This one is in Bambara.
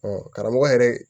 karamɔgɔ yɛrɛ